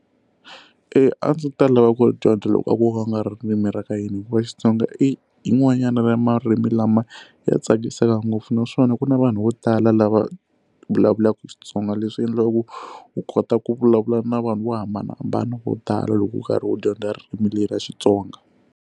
a ndzi ta lava ku ri dyondza loko a ko va ku nga ririmi ra ka hina hikuva Xitsonga i yin'wanyana ra marimi lama ya tsakisaka ngopfu naswona ku na vanhu vo tala lava vulavulaka Xitsonga leswi endlaka ku u kota ku vulavula na vanhu vo hambanahambana vo tala loko u karhi u dyondza ririmi leri ra Xitsonga.